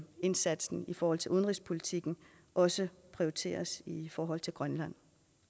indsatsen i forhold til udenrigspolitikken også prioriteres i forhold til grønland